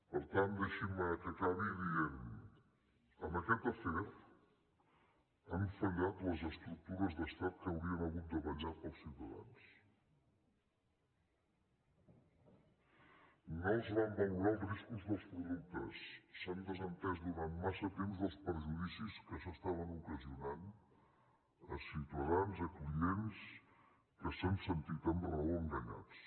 per tant deixin me que acabi dient que en aquest afer han fallat les estructures d’estat que haurien hagut de vetllar pels ciutadans no es van valorar els riscos dels productes s’han desentès durant massa temps dels perjudicis que s’estaven ocasionant a ciutadans a clients que s’han sentit amb raó enganyats